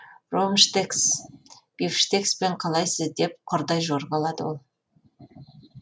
ромштекс бифштекспен қалайсыз деп құрдай жорғалады ол